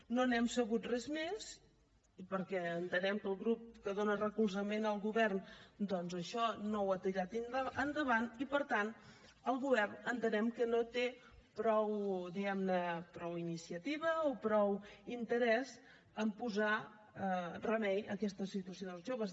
no n’hem sabut res més perquè entenem que el grup que dona recolzament al govern doncs això no ho ha tirat endavant i per tant el govern entenem que no té prou diguem ne iniciativa o prou interès en posar remei a aquesta situació dels joves